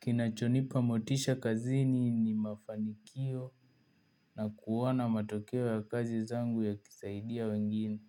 Kinachonipa motisha kazini ni mafanikio na kuona matokeo ya kazi zangu yakisaidia wengine.